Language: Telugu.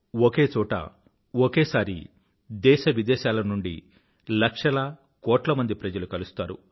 ఒకే చోట ఒకేసారి దేశవిదేశాల నుండి లక్షల కోట్ల మంది ప్రజలు కలుస్తారు